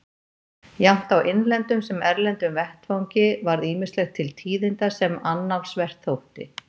Jafnt á innlendum sem erlendum vettvangi varð ýmislegt til tíðinda sem annálsvert þótti.